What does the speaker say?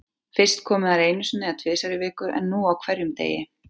Fyrst komu þær einu sinni eða tvisvar í viku en nú á hverjum degi.